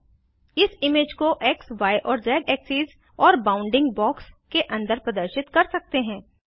हम इमेज को xय और ज़ एक्सीस और बॉउन्डिंग बॉक्स के अंदर प्रदर्शित कर सकते हैं